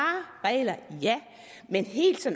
regler men helt så